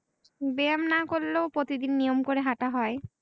ব্যায়াম না করলেও প্রতি দিন নিয়ম করে হাটা হয়।